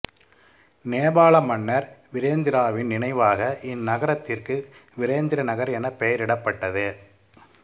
நேபாள மன்னர் விரேந்திராவின் நினைவாக இந்நகரத்திற்கு விரேந்திரநகர் எனப் பெயரிடப்பட்டது